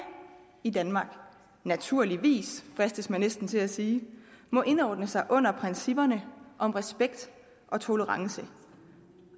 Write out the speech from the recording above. i danmark naturligvis fristes man næsten til at sige må indordne sig under principperne om respekt og tolerance